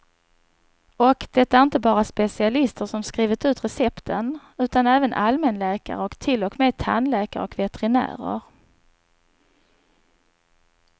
Och det är inte bara specialister som skrivit ut recepten, utan även allmänläkare och till och med tandläkare och veterinärer.